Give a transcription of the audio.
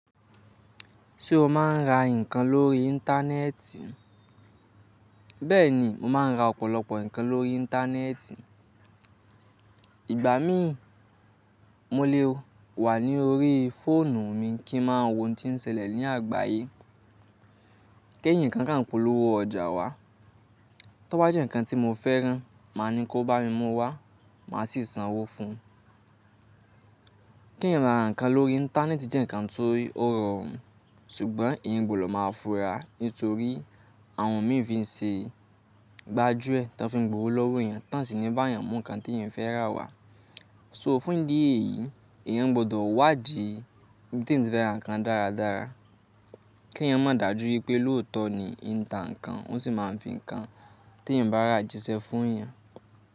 Ṣé o máa ń ra nǹkan lórí Íńtánẹ́ẹ̀tì? Bẹ́ẹ̀ni, mo máa ń ra ọ̀pọ̀lọpọ̀ nǹkan lórí Íńtánẹ́ẹ̀tì. Ìgbà mí mo lè wà ní orí fóònù mi kí n máa wo ohun tí ń ṣẹlẹ̀ ní àgbáyé. K'éyan nǹkan kan polówó ọjà wá. Tọ́ bá jẹ́ nǹkan tí mo fẹ́rán, màá ní kó bá mi mú wá, màá sì san owó fún un. Kí ń ra nǹkan lórí Íńtánẹ́ẹ̀tì jẹ́ nǹkan tó rọrùn, ṣùgbọ́n èyìn gbòdo máa funra nítorí àwọn mií ìfise gbájúẹ̀ tí wọ́n fi ń gbowó lọ́wọ́ èyàn, tọ́ sì ní bá èyàn mú nǹkan tí èyìn fẹ́ rà wá. So fún ìdí èyí, èyàn gbọ́dọ̀ wádìí bí tí ń fẹ́ ra nǹkan dáradára. Kí èyàn má dàjú wípé lóòtọ́ ni í ń ta nǹkan, ó sì máa ń fi nǹkan tí èyìn bá rà jíṣẹ́ fún èyàn.